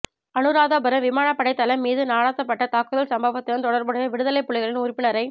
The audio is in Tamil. அனுராதபுரம் விமானப்படைத் தளம் மீது நடாத்தப்பட்ட தாக்குதல் சம்பவத்துடன் தொடர்புடைய விடுதலைப் புலிகளின் உறுப்பினரை